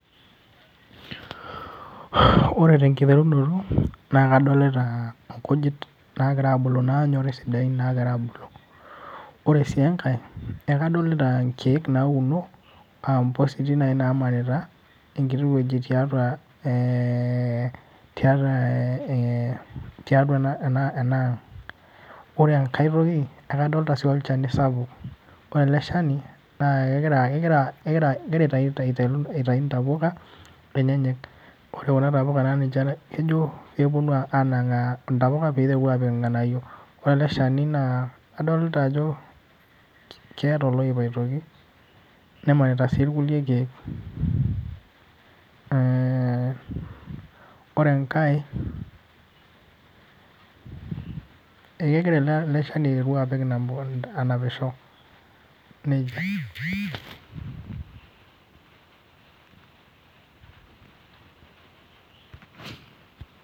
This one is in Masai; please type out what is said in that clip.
Ore tenkiterunoto, na kadolita inkujit nagira abulu nanyori sidain nagira abulu. Ore si enkae, ekadolita inkeek nauno, ah impositi nai namarita enkiti weji tiatua eh tiatu ena enang'. Ore enkae toki, akadolta si olchani sapuk. Ore ele shani, na kegira aitayu ntapuka enyenyek. Ore kuna tapuka na ninche kejo peponu anang'aa intapuka piteru apik irng'anayio. Ore ele shani na kadolta ajo keeta oloip aitoki, nemanita si irkulie keek. Ore enkae, ekegira ele shani aiteru apik inampu anapisho. Nejia.